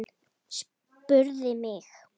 Spurðu mig.